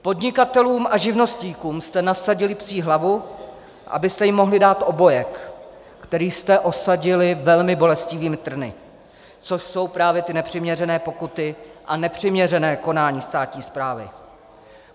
Podnikatelům a živnostníkům jste nasadili psí hlavu, abyste jim mohli dát obojek, který jste osadili velmi bolestivými trny, což jsou právě ty nepřiměřené pokuty a nepřiměřená konání státní správy.